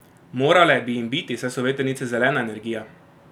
Morale bi jim biti, saj so vetrnice zelena energija!